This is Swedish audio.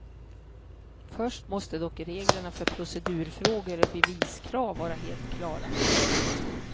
Först måste dock reglerna för procedurfrågor och beviskrav vara helt klara.